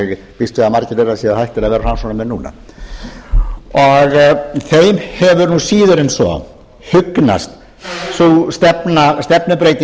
ég býst við að margir þeirra séu hættir að vera framsóknarmenn núna þeim hefur síður en svo hugnast sú stefnubreyting